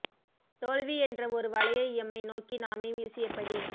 தோல்வி என்ற ஒரு வலையை எம்மை நோக்கி நாமே வீசியபடி